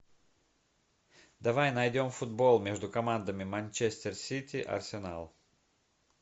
давай найдем футбол между командами манчестер сити арсенал